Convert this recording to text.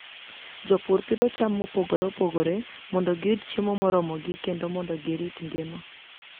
Jopur pidho cham mopogore opogore mondo giyud chiemo moromogi kendo mondo girit ngima.